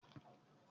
Ṣé o máa fọ ẹyín rẹ